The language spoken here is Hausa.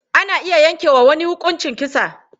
Ana iya yanke wa wani huƙuncin kisa.